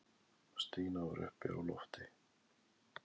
Stína var uppi á lofti.